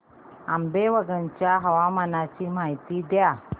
आंबेवंगन च्या हवामानाची माहिती द्या